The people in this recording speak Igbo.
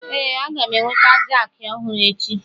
Ee, a ga m enweta jakị ọhụrụ echi.